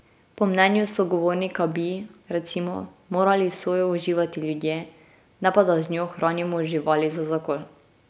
Po mnenju sogovornika bi, recimo, morali sojo uživati ljudje, ne pa da z njo hranimo živali za zakol.